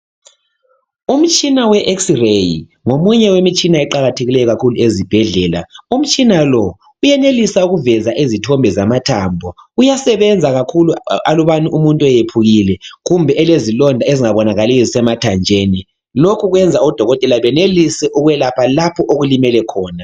Umtshina we eksireyi ngomunye wemitshina eqakathekileyo kakhulu ezibhedlela. Umtshina lo uyenelisa ukuveza izithombe zamathambo. Uyasebenza kakhulu alubana umuntu eyephukile kumbe elezilonda ezingabonakaliyo, ezisemathanjeni. Lokhu kuyenza odokotela benelise ukwelapha lapho okulimele khona.